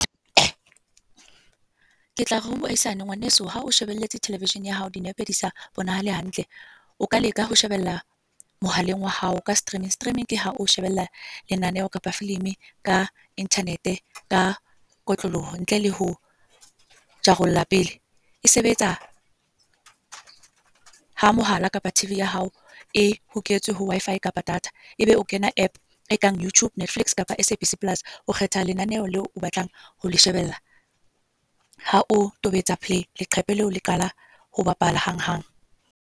Ke tla re ho moahisane. Ngwaneso ha o shebeletse television ya hao dinepe di sa bonahale hantle. O ka leka ho shebella, mohaleng wa hao ka streaming. Streaming ke ha o shebella lenaneo kapa filimi ka internet ka kotloloho, ntle le ho rarolla pele. E sebetsa, ha mohala kapa T_V ya hao e hoketswe ho Wi-Fi kapa data. E be o kena app e kang YouTube, Netflix kapa S_A_B_C Plus o kgetha lenaneho leo o batlang ho shebella. Ha o tobetsa play leqephe leo le qala ho bapala hanghang.